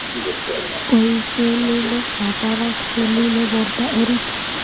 Poishe lilek ap parak chelile porto orit.